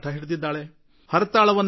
ಆಕೆ ತನ್ನ ಸತ್ಯಾಗ್ರಹ ಕೈ ಬಿಡಲು ತಯಾರಿರಲಿಲ್ಲ